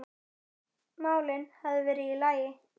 málin hefðu verið í lagi.